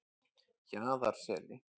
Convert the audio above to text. Jaðarseli